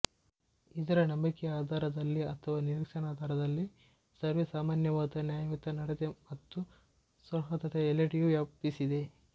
ಇದರ ನಂಬಿಕೆಯ ಆಧಾರದಲ್ಲಿ ಅಥವಾ ನಿರೀಕ್ಷಣಾಧಾರದಲ್ಲಿ ಸರ್ವೆ ಸಾಮಾನ್ಯವಾದ ನ್ಯಾಯಯುತ ನಡತೆ ಮತ್ತು ಸೌಹಾರ್ದತೆ ಎಲ್ಲೆಡೆಯೂ ವ್ಯಾಪಿಸಿದೆ